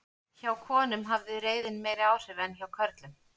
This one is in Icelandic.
hjá konum hafði reiðin meiri áhrif en hjá körlum